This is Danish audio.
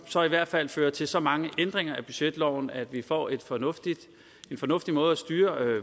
så i hvert fald fører til så mange ændringer af budgetloven at vi får en fornuftig fornuftig måde at styre